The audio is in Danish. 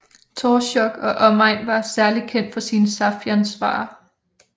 Torzjok og omegn var særlig kendt for sine saffiansvarer